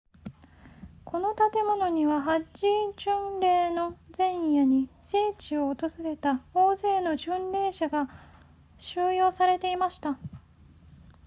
この建物にはハッジ巡礼の前夜に聖地を訪れた大勢の巡礼者が収容されていました